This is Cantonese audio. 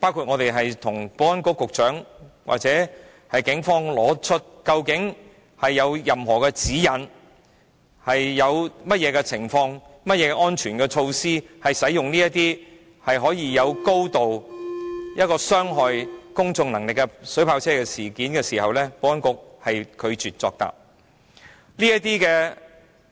我們曾詢問保安局和警方有否任何指引，規限在甚麼情況下才使用這種對公眾有高度傷害性的水炮車，以及有何安全措施，保安局皆拒絕作答。